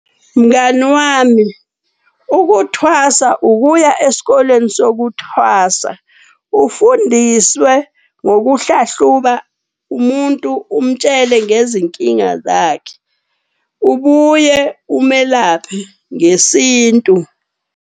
Mngani wami ukuthwasa ukuya esikoleni sokuthwasa, ufundiswe ngokuhlahluka umuntu umtshele ngezinkinga zakhe. Ubuye umelaphe ngesintu.